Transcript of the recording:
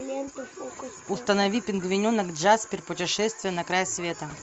установи пингвиненок джаспер путешествие на край света